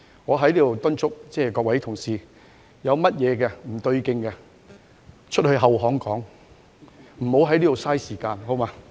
我在此敦促各位同事，如有事情不對勁，可以到後巷傾談，無需在此浪費時間，好嗎？